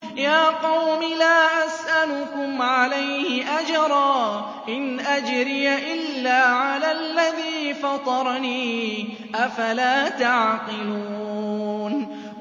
يَا قَوْمِ لَا أَسْأَلُكُمْ عَلَيْهِ أَجْرًا ۖ إِنْ أَجْرِيَ إِلَّا عَلَى الَّذِي فَطَرَنِي ۚ أَفَلَا تَعْقِلُونَ